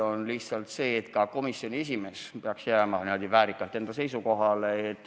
Põhjus on lihtsalt see, et komisjoni esimees peaks jääma väärikalt enda seisukohale.